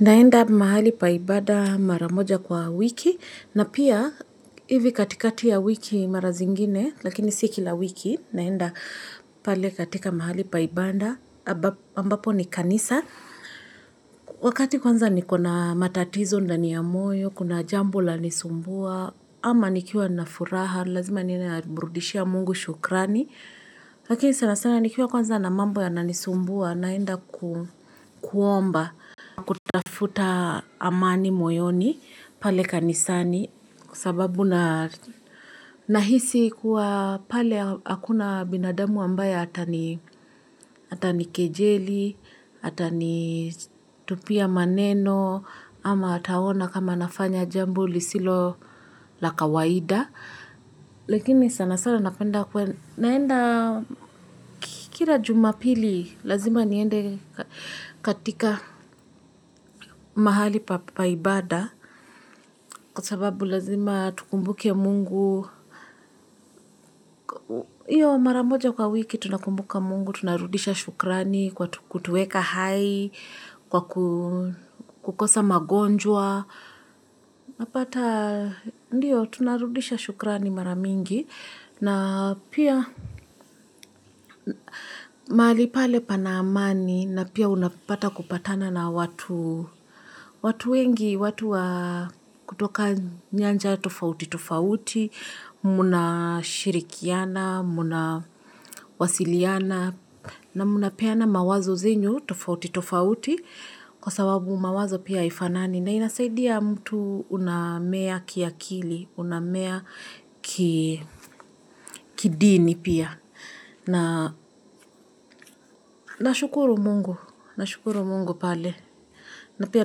Naenda mahali pa ibada mara moja kwa wiki na pia hivi katikati ya wiki mara zingine lakini si kila wiki naenda pale katika mahali paibada ambapo ni kanisa. Wakati kwanza nikona matatizo ndani ya moyo, kuna jambo lanisumbua ama nikiwa na furaha lazima ninamrudishia mungu shukrani. Lakini sana sana nikiwa kwanza na mambo yananisumbua naenda kuomba kutafuta amani moyoni pale kanisani sababu na nahisi kuwa pale hakuna binadamu ambaye atanikejeli, atanitupia maneno ama ataona kama nafanya jambo lisilo la kawaida Lakini sana sana napenda naenda kila jumapili lazima niende katika mahali pa ibada Kwa sababu lazima tukumbuke mungu hiyo maramoja kwa wiki tunakumbuka mungu tunarudisha shukrani kwa kutuweka hai Kwa kukosa magonjwa Napata ndiyo tunarudisha shukrani maramingi na pia mahalii pale pana amani na pia unapata kupatana na watu wengi, watu wa kutoka nyanja tofauti tofauti, mnashirikiana, mnwasiliana, na mnapeana mawazo zenyu tofauti tofauti kwa sawabu mawazo pia haifanani. Na inasaidia mtu unamea kiakili, unamea kidini pia. Nashukuru mungu, nashukuru mungu pale. Na pia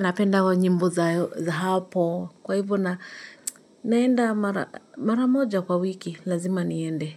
napenda wa nyimbo za hapo, kwa hivo na naenda mara moja kwa wiki, lazima niende.